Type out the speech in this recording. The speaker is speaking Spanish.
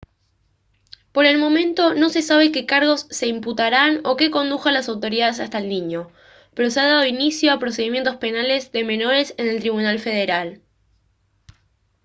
por el momento no se sabe qué cargos se imputarán o qué condujo a las autoridades hasta el niño pero se ha dado inicio a procedimientos penales de menores en el tribunal federal